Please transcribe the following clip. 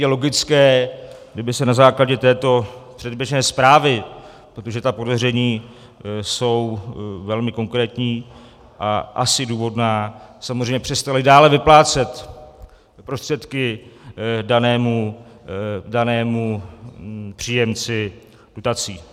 Je logické, kdyby se na základě této předběžné zprávy, protože ta podezření jsou velmi konkrétní a asi důvodná, samozřejmě přestaly dále vyplácet prostředky danému příjemci dotací.